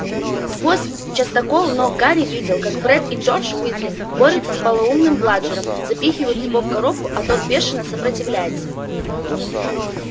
сквозь частокол ног гарри видел как фред и джордж уизли борются с полоумным бладжером запихивают его в коробку а тот бешено сопротивляется